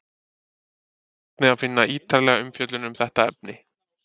Þar er einnig að finna ítarlegri umfjöllun um þetta efni.